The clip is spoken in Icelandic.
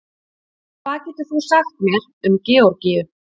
Hvað getur þú sagt mér um Georgíu?